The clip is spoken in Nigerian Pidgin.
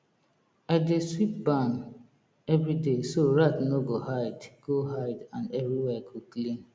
i dey sweep barn every day so rat no go hide go hide and everywhere go clean